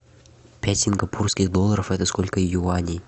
пять сингапурских долларов это сколько юаней